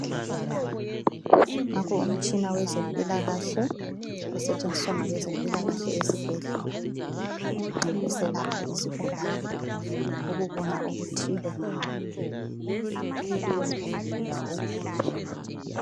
Nanko umtshina wezempilakahle usetshenziswa ngabezempilakahle esibhedlela nxa beselapha izigulani ukubona okuthile ngawo.